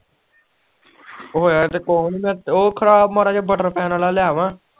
ਹੋਇਆ ਤਾ ਕੁਛ ਨੀ ਉਹ ਖਰਾਬ ਮਾੜਾ ਜਾ ਪੈਣ ਆਲਾ ਆ ਲਿਆਵਾਂ